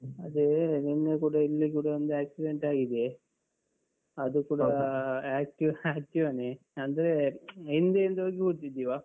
ಅದೇ ನಿನ್ನೆ ಕೂಡ ಇಲ್ಲಿ ಕೂಡ ಒಂದು accident ಆಗಿದೆ. ಅದು ಕೂಡ active~ Activa ನೇ ಅಂದ್ರೆ ಹಿಂದೆಯಿಂದ ಹೋಗಿ ಗುದ್ದಿದು ಇವ ಹಾ.